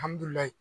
Alihamdulilayi